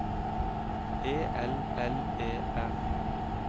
E L L E R